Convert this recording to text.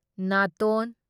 ꯅꯥꯇꯣꯟ